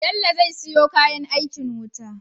Bello ze siyo kayan aikin wuta